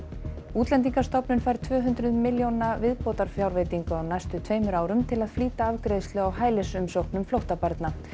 Útlendingastofnun fær tvö hundruð milljóna viðbótarfjárveitingu á næstu tveimur árum til að flýta afgreiðslu á hælisumsóknum flóttabarna